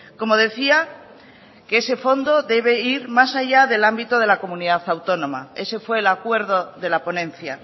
como decía que ese fondo debe ir más allá del ámbito de la comunidad autónoma ese fue el acuerdo de la ponencia